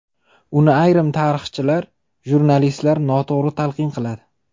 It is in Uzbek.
Uni ayrim tarixchilar, jurnalistlar noto‘g‘ri talqin qiladi.